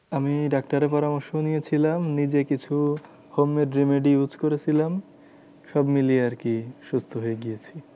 আমি ডাক্তারের পরামর্শ নিয়েছিলাম। নিজে কিছু homemade remedies use করেছিলাম। সব মিলিয়ে আরকি সুস্থ হয়ে গিয়েছি।